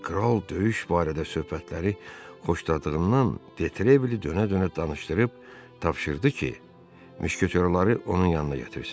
Kral döyüş barədə söhbətləri xoşladığından De Trevili dönə-dönə danışdırıb tapşırdı ki, müşketorları onun yanına gətirsin.